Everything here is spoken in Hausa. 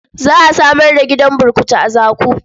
Za a samar da gidan burkutu a Zaku.